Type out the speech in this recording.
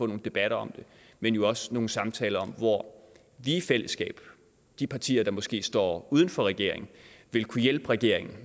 nogle debatter om det men jo også nogle samtaler om hvor vi i fællesskab i de partier der måske står uden for regeringen vil kunne hjælpe regeringen